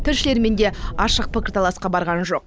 тілшілермен де ашық пікірталасқа барған жоқ